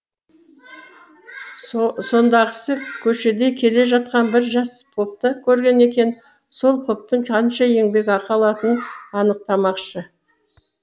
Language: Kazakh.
сондағысы көшеде келе жатқан бір жас попты көрген екен сол поптың қанша еңбекақы алатынын анықтамақшы